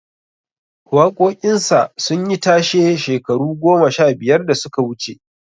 Waƙoƙin sa sun yi tashe shekaru goma sha biyar da suka wuce